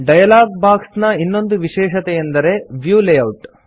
dialog box ನ ಇನ್ನೊಂದು ವಿಷೇಶತೆಯೆಂದರೆ ವ್ಯೂ ಲೇಯೌಟ್